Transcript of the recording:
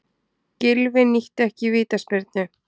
Gylfi nýtti ekki vítaspyrnu